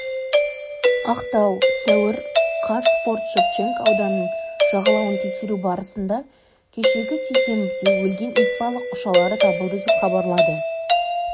ақтау сәуір қаз форт-шевченко ауданының жағалауын тексеру барысында кешегі сейсенбіде өлген итбалық ұшалары табылды деп хабарлады